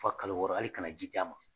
F'a kalo wɔɔrɔ hal'i kana ji di a ma